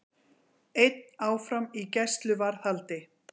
Einn áfram í gæsluvarðhaldi